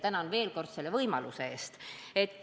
Tänan veel kord selle võimaluse eest!